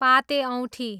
पाते औँठी